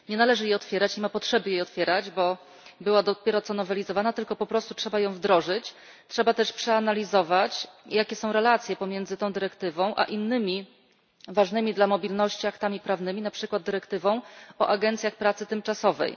Nie należy jej otwierać, nie ma potrzeby jej otwierać, bo była dopiero co nowelizowana, tylko po prostu trzeba ją wdrożyć, trzeba też przeanalizować jakie są relacje pomiędzy tą dyrektywą a innymi ważnymi dla mobilności aktami prawnymi, na przykład dyrektywą o agencjach pracy tymczasowej.